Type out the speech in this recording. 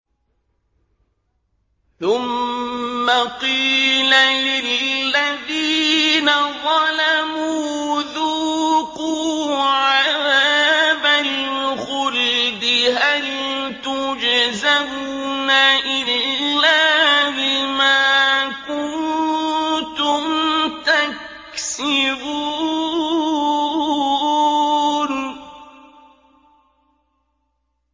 ثُمَّ قِيلَ لِلَّذِينَ ظَلَمُوا ذُوقُوا عَذَابَ الْخُلْدِ هَلْ تُجْزَوْنَ إِلَّا بِمَا كُنتُمْ تَكْسِبُونَ